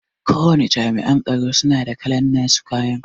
Kowace Jami'an tsaro suna da kalan nasu kayan